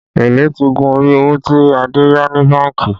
Èlé ti gun orí owó tí Adé yá ní bánkì